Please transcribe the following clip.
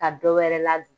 Ka dɔ wɛrɛ ladon